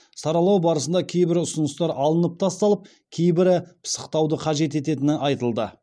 саралау барысында кейбір ұсыныстар алынып тасталып кейбірі пысықтауды қажет ететіні айтылды